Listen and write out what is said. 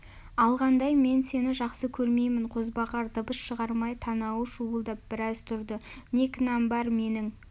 алғандай мен сені жақсы көрмеймін қозбағар дыбыс шығармай танауы шуылдап біраз тұрды не кінәм бар менің